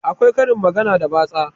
Akwai karin magana da batsa